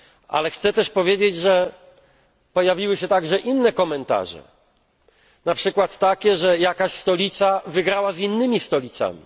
Ale chcę też powiedzieć, że pojawiły się również inne komentarze, na przykład takie, że jakaś stolica wygrała z innymi stolicami.